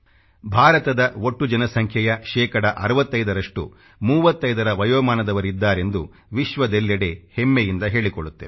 ಭಾರತದ ಒಟ್ಟು ಜನಸಂಖ್ಯೆಯ ಶೇಕಡ 65ರಷ್ಟು 35ರ ವಯೋಮಾನದವರಿದ್ದಾರೆಂದು ವಿಶ್ವದಲ್ಲೆಡೆ ಹೆಮ್ಮೆಯಿಂದ ಹೇಳಿಕೊಳ್ಳುತ್ತೇವೆ